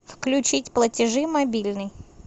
включить платежи мобильный